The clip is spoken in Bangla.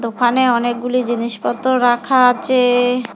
ওখানে অনেকগুলি জিনিসপত্র রাখা আছে।